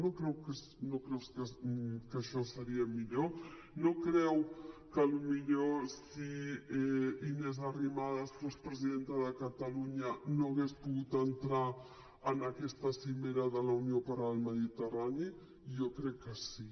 no creu que això seria millor no creu que potser si inés arrimadas fos presidenta de catalunya hauria pogut entrar en aquesta cimera de la unió pel mediterrani jo crec que sí